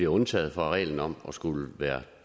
undtaget fra reglen om at skulle være